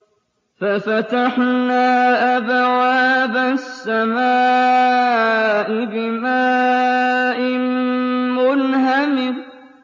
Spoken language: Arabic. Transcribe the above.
فَفَتَحْنَا أَبْوَابَ السَّمَاءِ بِمَاءٍ مُّنْهَمِرٍ